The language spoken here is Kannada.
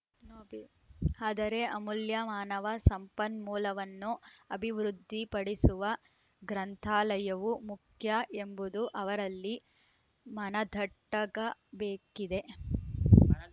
ಆದರೆ ಅಮೂಲ್ಯ ಮಾನವ ಸಂಪನ್ಮೂಲವನ್ನು ಅಭಿವೃದ್ಧಿ ಪಡಿಸುವ ಗ್ರಂಥಾಲಯವೂ ಮುಖ್ಯ ಎಂಬುದು ಅವರಲ್ಲಿ ಮನದಟ್ಟಾಗಬೇಕಿದೆ